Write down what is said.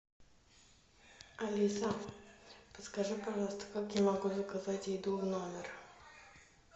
алиса подскажи пожалуйста как я могу заказать еду в номер